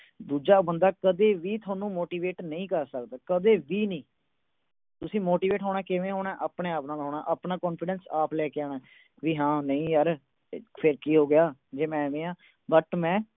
ਦੂਜਾ ਬੰਦਾ ਤੁਹਾਨੂੰ ਕਦੇ ਵੀ motivate ਨਹੀਂ ਕਰ ਸਕਦਾ, ਕਦੇ ਵੀ ਨਹੀਂ। ਤੁਸੀਂ motivate ਕਿਵੇਂ ਹੋਣਾ, ਆਪਣੇ-ਆਪ ਨਾਲ ਹੋਣਾ। ਆਪਣਾ confidence ਆਪ ਲੈ ਕੇ ਆਣਾ ਵੀ ਯਾਰ ਫਿਰ ਕੀ ਹੋ ਗਿਆ ਜੇ ਮੈਂ ਇਵੇਂ ਆ, but ਮੈਂ